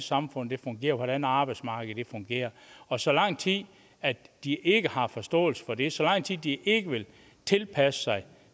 samfund fungerer hvordan arbejdsmarkedet fungerer og så lang tid de ikke har forståelse for det så lang tid de ikke vil tilpasse sig